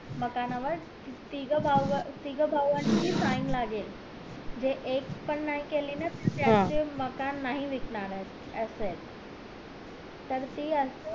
मकानावर तिघं भाऊ तिघं भावाची sign लागले जे एक पण नाय केले ना तर त्याचे मकान नाही विकणार ये असंयत तर ती